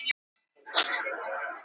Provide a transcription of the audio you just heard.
Vill eitt lífeyriskerfi fyrir alla